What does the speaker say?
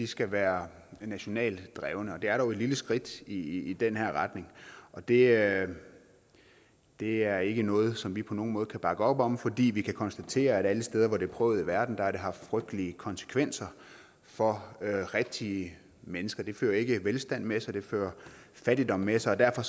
skal være nationalt drevne og det er dog et lille skridt i den her retning og det det er ikke noget som vi på nogen måde kan bakke op om fordi vi kan konstatere at alle steder hvor det er prøvet i verden har det haft frygtelige konsekvenser for rigtige mennesker det fører ikke velstand med sig det fører fattigdom med sig derfor